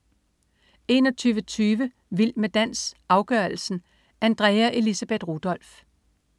21.20 Vild med dans, afgørelsen. Andrea Elisabeth Rudolph